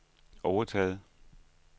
overtaget